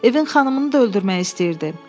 Evin xanımını da öldürmək istəyirdi.